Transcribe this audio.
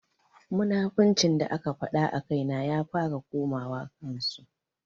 Munafuncin da aka faɗa a kaina ya fara komawa kan su.